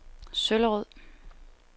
Søllerød